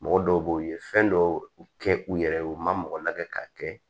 Mɔgɔ dɔw b'o ye fɛn dɔw kɛ u yɛrɛ ye u ma mɔgɔ lajɛ k'a kɛ